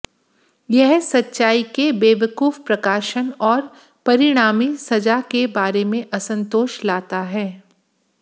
यह सच्चाई के बेवकूफ प्रकाशन और परिणामी सजा के बारे में असंतोष लाता है